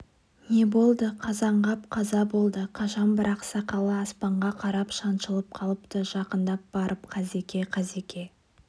не болды қазанғап қаза болды қашан бірақ сақалы аспанға қарап шаншылып қалыпты жақындап барып қазеке қазеке